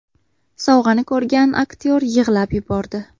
Sovg‘ani ko‘rgan aktyor yig‘lab yubordi .